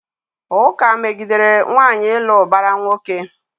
Ụka megidere nwaanyị ịlụ ụbara nwoke.